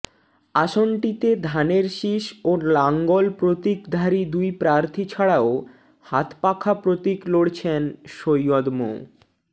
আসনটিতে ধানের শীষ ও লাঙ্গল প্রতীকধারী দুই প্রার্থী ছাড়াও হাতপাখা প্রতীক লড়ছেন সৈয়দ মো